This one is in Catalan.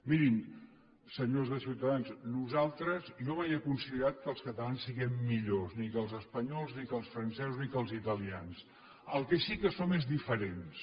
mirin senyors de ciutadans jo mai he considerat que els catalans siguem millors ni que els espanyols ni que els francesos ni que els italians el que sí que som és diferents